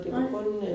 Nej